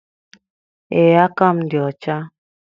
Ee, aka m dị ọcha